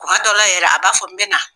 Kuma dɔ la yɛrɛ a b'a fɔ n bɛ na.